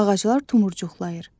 Ağaclar tumurcuqlayır.